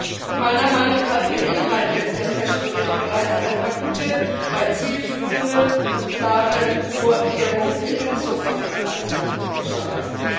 Und meiner Meinung nach beinhaltet der PECH Bericht bereits ein paar gute, weil zielführende und klare Vorkehrungen in Bezug auf die Freizeitfischerei.